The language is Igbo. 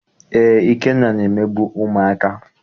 Eé, Ikenna na-emegbu ụmụaka.